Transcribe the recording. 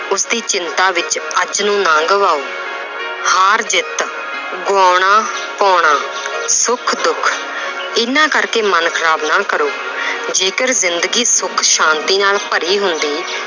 ਉਸਦੀ ਚਿੰਤਾ ਵਿੱਚ ਅੱਜ ਨੂੰ ਨਾ ਗਵਾਓ ਹਾਰ ਜਿੱਤ ਗਵਾਉਣ, ਪਾਉਣਾ ਸੁੱਖ-ਦੁੱਖ ਇਹਨਾਂ ਕਰਕੇ ਮਨ ਖ਼ਰਾਬ ਨਾ ਕਰੋ ਜੇਕਰ ਜ਼ਿੰਦਗੀ ਸੁੱਖ ਸ਼ਾਂਤੀ ਨਾਲ ਭਰੀ ਹੁੰਦੀ